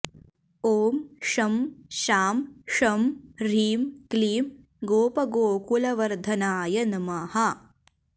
ॐ शं शां षं ह्रीं क्लीं गोपगोकुलवर्धनाय नमः